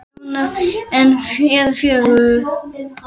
Börn þeirra hjóna eru fjögur.